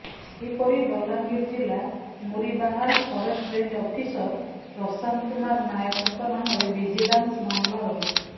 ସେହିପରି ବଲାଙ୍ଗୀର ଜିଲା Muribahal forest range officer Prashant Kumar ନାୟକଙ୍କ ନାମରେ ଭିଜିଲାନ୍ସ ମାମଲା ରହିଛି